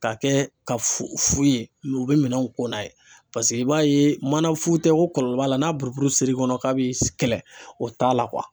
K'a kɛ ka fu ye mɛ u be minɛnw ko n'a ye, paseke i b'a ye manafu tɛ ok kɔlɔlɔ b'a la n'a buruburu ser'i kɔnɔ k'a bi kɛlɛ, o t'a la